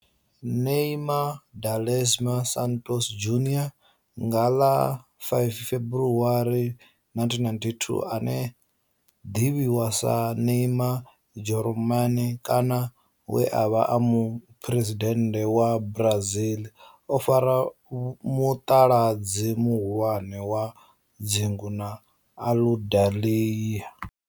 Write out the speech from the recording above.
Neymar da Silva Santos Junior nga ḽa 5 February 1992, ane ḓivhiwa sa Neymar Jeromme kana we a vha e muphuresidennde wa Brazil o fara muṱaladzi muhulwane wa dzingu na Aludalelia.